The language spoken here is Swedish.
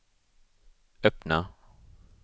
öppna